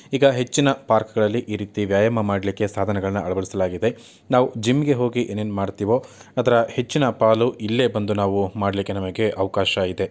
ಈಗ ಹೆಚ್ಚಿನ ಪಾರ್ಕ್ ಗಳಲ್ಲಿ ಈ ರೀತಿ ವ್ಯಾಯಾಮ ಮಾಡಲಿಕ್ಕೆ ಸಾಧನಗಳನ್ನ ಅಳವಡಿಸಲಾಗಿದೆ ನಾವು ಜಿಮ್ ಗೆ ಹೋಗಿ ಏನ್ ಏನ್ ಮಾಡ್ತೀವೋ ಅದರ ಹೆಚ್ಚಿನ ಪಾಲು ಇಲ್ಲೆ ಬಂದು ನಾವು ಮಾಡ್ಲಿಕ್ಕೆ ನಮ್ಗೆ ಅವಕಾಶ ಇದೆ.